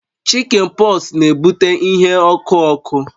Chikin pọks na-ebute ihe ọkụ ọkụ